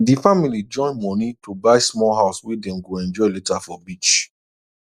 d family join money to buy small house wey dem go enjoy later for beach